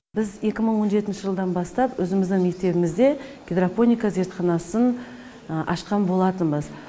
біз екі мың он жетінші жылдан бастап өзіміздің мектебімізде гидропоника зертханасын ашқан болатынбыз